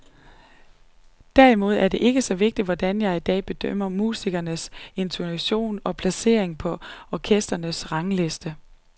Derimod er det ikke så vigtigt, hvordan jeg i dag bedømmer musikernes intonation og placering på orkestrenes rangliste.